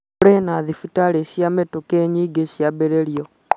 kũrĩ na thibitari cia mĩtũkĩ nyingĩ ciambĩrĩirio